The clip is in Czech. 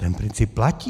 Ten princip platí.